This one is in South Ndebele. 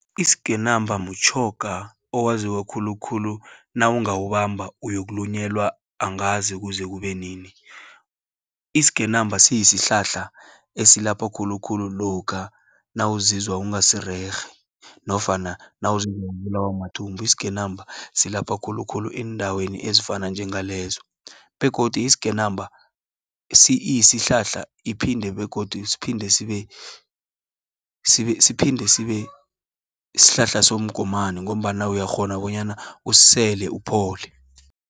Isgenamba mtjhoga owaziwe khulukhulu, nawungawubamba uyokulunyelwa angazi kuze kube nini. Isgenamba siyisihlahla esilapha khulukhulu, lokha nawuzizwa ungasirerhe, nofana nawuzizwa ubulawa mathumbu. Isgenamba silapha, khulukhulu eendaweni ezifana njengalezo, begodu isgenamba iyisihlahla, siphinde sibe shlahla somgomani, ngombana uyakghona bonyana usele uphole.